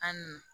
An n